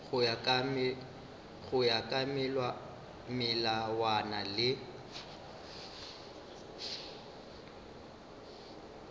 go ya ka melawana le